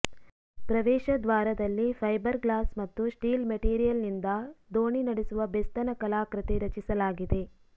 ಪ್ರವೇಶ ದ್ವಾರದಲ್ಲಿ fibre glass ಮತ್ತು ಸ್ಟೀಲ್ ಮೆಟೀರಿಯಲ್ನಿಂದ ದೋಣಿ ನಡೆಸುವ ಬೆಸ್ತನ ಕಲಾಕೃತಿ ರಚಿಸಲಾಗಿದೆ